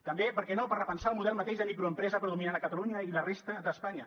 també per què no per repensar el model de microempresa predominant a catalunya i la resta d’espanya